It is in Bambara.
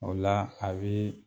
O la a bɛ